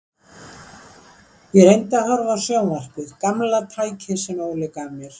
Ég reyndi að horfa á sjónvarpið, gamla tækið sem Óli gaf mér.